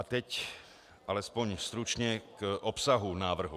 A teď alespoň stručně k obsahu návrhu.